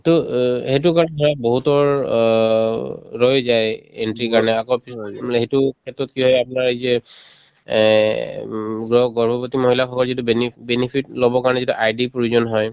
to অ সেইটোৰ কাৰণে ধৰক বহুতৰ অ ৰৈয়ে যায় entry ৰ কাৰণে আকৌ সেইটো ক্ষেত্ৰত কি হয় আপোনাৰ এই যে এহ্ উম গ্ৰ গৰ্ভৱতী মহিলাসকল যিটো been benefit লবৰ কাৰণে যিটো ID ৰ প্ৰয়োজন হয়